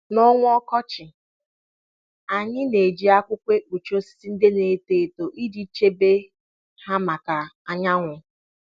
N'ọnwa ọkọchị, anyị na-eji akwụkwọ ekpuchi osisi ndị na eto eto iji chebe ha maka anyanwụ.